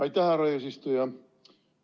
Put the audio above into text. Aitäh, härra eesistuja!